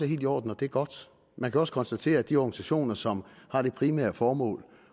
helt i orden og det er godt man kan også konstatere at de organisationer som har det primære formål